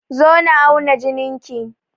Zo na auna jinin ki!